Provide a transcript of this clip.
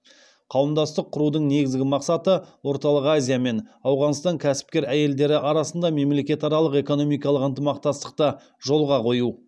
қауымдастық құрудың негізгі мақсаты орталық азия мен ауғанстан кәсіпкер әйелдері арасында мемлекетаралық экономикалық ынтымақтастықты жолға қою